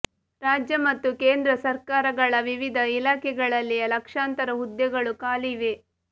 ರಾಜ್ಯ ಮತ್ತು ಕೇಂದ್ರ ಸಕರ್ಾರಗಳ ವಿವಿಧ ಇಲಾಖೆಗಳಲ್ಲಿ ಲಕ್ಷಾಂತರ ಹುದ್ದೆಗಳು ಖಾಲಿ ಇವೆ